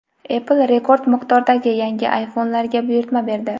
Apple rekord miqdordagi yangi iPhone’larga buyurtma berdi.